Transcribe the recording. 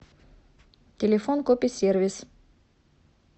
телефон кописервис